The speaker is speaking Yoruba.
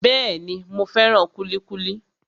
Bẹ́ẹ̀ni, mo fẹ́ràn kúlíkúlí